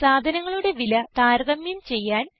സാധനങ്ങളുടെ വില താരതമ്യം ചെയ്യാൻ